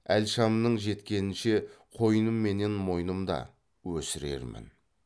әл шамның жеткенінше қойным менен мойнымда өсірермін